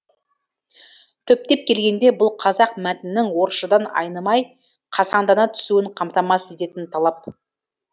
түптеп келгенде бұл қазақ мәтінінің орысшадан айнымай қасаңдана түсуін қамтамасыз ететін талап